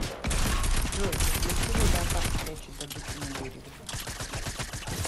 джой для чего леопард прячет добычу на дереве